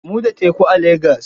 Mu da teku a Lagos.